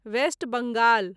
West Bengal